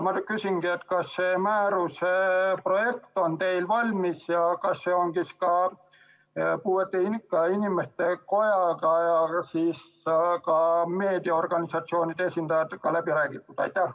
Ma küsingi: kas see määruse projekt on teil valmis ja kas see on ka Eesti Puuetega Inimeste Koja ja meediaorganisatsioonide esindajatega läbi räägitud?